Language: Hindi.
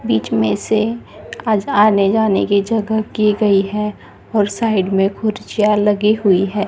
बीच में से आज आने जाने की जगह की गई है और साइड में कुर्सियां लगी हुई है।